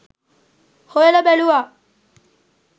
හොයල බැලුවා